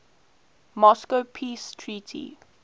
moscow peace treaty